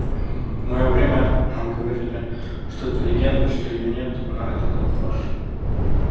в моё время нам говорили что это легенда что её нет но это была ложь